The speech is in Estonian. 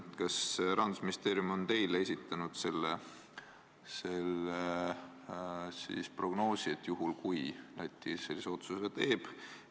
Kas Rahandusministeerium on teinud teile esitatud prognoosi arvestades, et Läti sellise otsuse teeb?